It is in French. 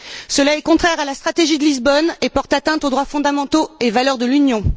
Cela est contraire à la stratégie de Lisbonne et porte atteinte aux droits fondamentaux et valeurs de l'Union.